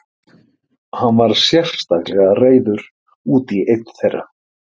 Hann var sérstaklega reiður út í einn þeirra.